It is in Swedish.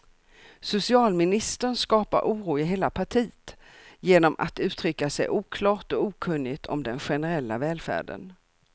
Socialministern skapar oro i hela partiet genom att uttrycka sig oklart och okunnigt om den generella välfärden.